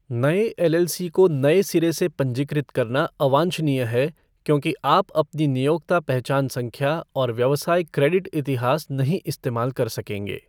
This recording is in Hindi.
नए एलएलसी को नए सिरे से पंजीकृत करना अवांछनीय है क्योंकि आप अपनी नियोक्ता पहचान संख्या और व्यवसाय क्रेडिट इतिहास नहीं इस्तेमाल कर सकेंगे।